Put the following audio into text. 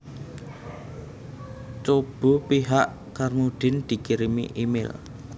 Cobo pihak Carmudine dikirimi email